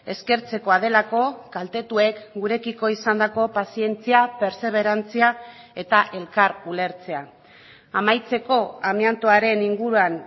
eskertzekoa delako kaltetuek gurekiko izandako pazientzia pertseberantzia eta elkar ulertzea amaitzeko amiantoaren inguruan